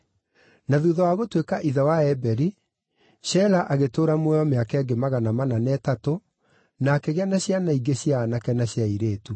Na thuutha wa gũtuĩka ithe wa Eberi, Shela agĩtũũra muoyo mĩaka ĩngĩ magana mana na ĩtatũ, na akĩgĩa na ciana ingĩ cia aanake na cia airĩtu.